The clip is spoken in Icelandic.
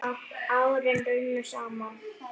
Árin runnu saman í eitt.